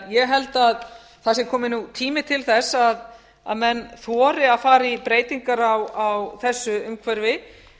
ég held því að það sé kominn tími til þess að menn þori að fara í breytingar á þessu umhverfi